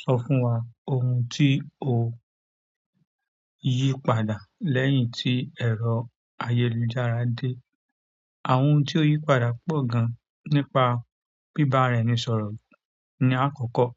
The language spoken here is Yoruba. So fún oun ti o yípadà, leyi ti ero ayélujára de. Àwọn ohun tí ó yípadà pọ̀ gan, nípa bíbá ara ẹni sọ̀rọ̀ ni àkọ́kọ́.